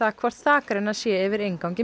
hvort þakrenna sé yfir inngangi